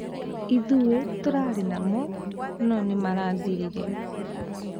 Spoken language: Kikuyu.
Ithuĩ turarĩ namo no nĩmarathirire